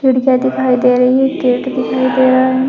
खिड़कियां दिखाई दे रही है गेट दिखाई दे रहा है।